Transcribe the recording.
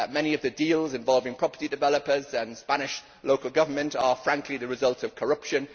Many of the deals involving property developers and Spanish local government are, frankly, the result of corruption.